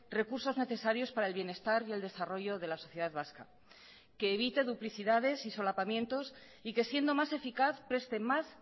recursos necesarios para el bienestar y el desarrollo de la sociedad vasca que evite duplicidades y solapamientos y que siendo más eficaz preste más